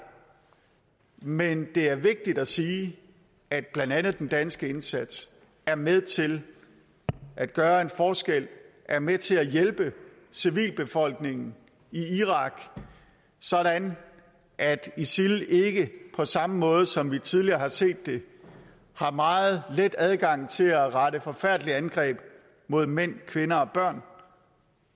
men det er vigtigt at sige at blandt andet den danske indsats er med til at gøre en forskel er med til at hjælpe civilbefolkningen i irak sådan at isil ikke på samme måde som vi tidligere har set det har meget let adgang til at rette forfærdelige angreb mod mænd kvinder